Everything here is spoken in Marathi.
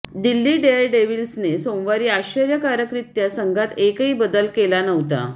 दिल्ली डेअरडेव्हिल्सने सोमवारी आश्चर्यकारकरित्या संघात एकही बदल केला नव्हता